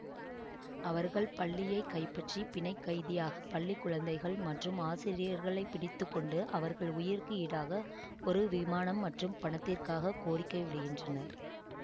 அவர்கள் பள்ளியைக் கைப்பற்றி பிணைக்கைதியாக பள்ளி குழந்தைகள் மற்றும் ஆசிரியர்களைப் பிடித்து கொண்டு அவர்கள் உயிருக்கு ஈடாக ஒரு விமானம் மற்றும் பணத்திற்காக கோரிக்கை விடுகின்றனர்